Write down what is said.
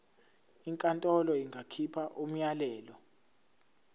inkantolo ingakhipha umyalelo